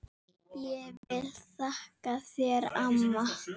Ég vil þakka þér amma.